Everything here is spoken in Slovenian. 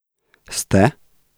Ste?